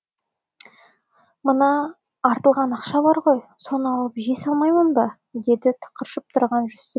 мына артылған ақша бар ғой соған алып жей салмайым ба деді тықыршып тұрған жүсіп